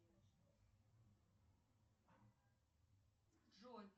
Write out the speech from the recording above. джой